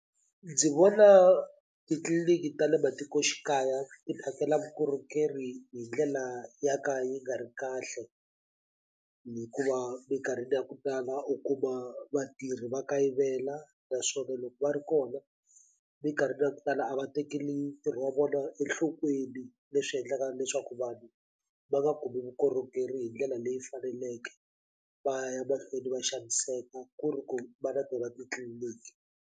Ndzi vona titliliniki ta le matikoxikaya ti phakela vukorhokeri hi ndlela ya ka yi nga ri kahle hikuva minkarhini ya ku tala u kuma vatirhi va kayivela naswona loko va ri kona minkarhini ya ku tala a va tekeli ntirho wa vona enhlokweni leswi endlaka leswaku vanhu va nga kumi vukorhokeri hi ndlela leyi faneleke va ya mahlweni va xaniseka ku ri ku va na tona titliliniki.